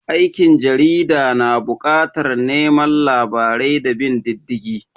Aikin jarida na bukatar neman labarai da bin diddigi